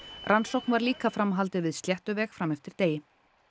rannsókn var líka framhaldið við Sléttuveg fram eftir degi